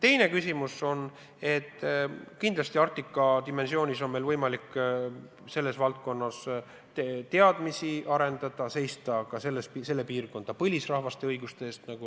Teine küsimus on, et Arktika dimensioonis on meil kindlasti võimalik arendada oma teadmisi selles valdkonnas ja seista ka selle piirkonna põlisrahvaste õiguste eest.